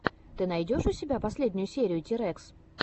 ты найдешь у себя последнюю серию тирэкс